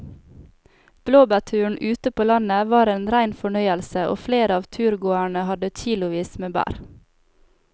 Blåbærturen ute på landet var en rein fornøyelse og flere av turgåerene hadde kilosvis med bær.